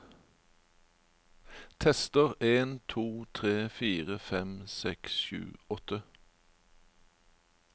Tester en to tre fire fem seks sju åtte